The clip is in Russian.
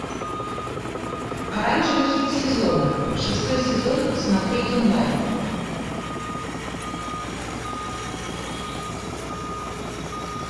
оранжевый хит сезона шестой сезон смотреть онлайн